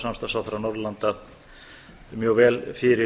samstarfsráðherra norðurlanda mjög vel fyrir